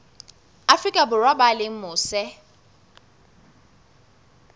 afrika borwa ba leng mose